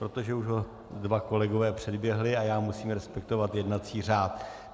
Protože už ho dva kolegové předběhli a já musím respektovat jednací řád.